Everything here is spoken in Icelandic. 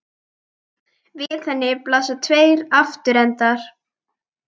Við henni blasa tveir aftur endar.